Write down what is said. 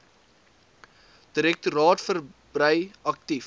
direktoraat verbrei aktief